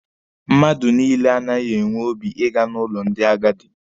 Mmadụ niile anaghị enwe obi ịga n'ụlọ ndị agadi.